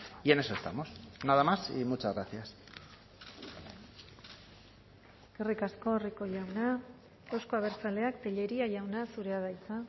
y en eso estamos nada más y muchas gracias eskerrik asko rico jauna euzko abertzaleak tellería jauna zurea da hitza